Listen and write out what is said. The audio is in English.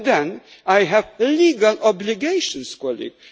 built by ECHA. Then I have legal obligations,